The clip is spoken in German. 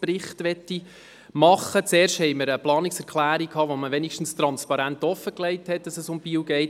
Zuerst hatten wir eine Planungserklärung, bei der klar offengelegt wurde, dass es sich um Biel handelt.